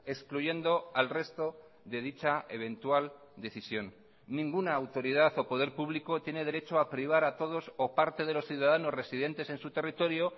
excluyendo al resto de dicha eventual decisión ninguna autoridad o poder público tiene derecho a privar a todos o parte de los ciudadanos residentes en su territorio